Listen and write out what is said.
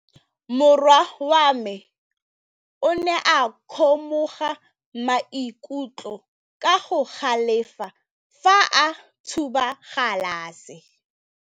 Morwa wa me o ne a kgomoga maikutlo ka go galefa fa a thuba galase.